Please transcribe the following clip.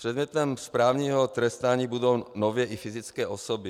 Předmětem správního trestání budou nově i fyzické osoby.